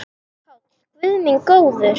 PÁLL: Guð minn góður!